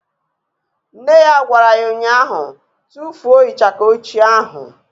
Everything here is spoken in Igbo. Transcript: Nne ya gwara ya ụnyaahụ " Tufuo ịchaka ochie ahụ"!